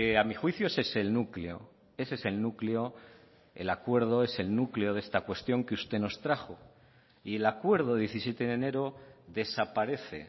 a mi juicio ese es el núcleo ese es el núcleo el acuerdo es el núcleo de esta cuestión que usted nos trajo y el acuerdo diecisiete de enero desaparece